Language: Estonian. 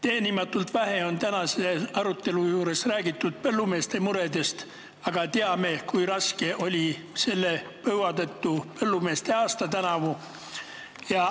Teenimatult vähe on tänasel arutelul räägitud põllumeeste muredest, aga teame, kui raske oli põua tõttu põllumeeste tänavune suvi.